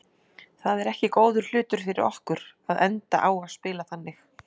Það er ekki góður hlutur fyrir okkur að enda á að spila þannig.